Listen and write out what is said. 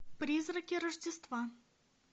призраки рождества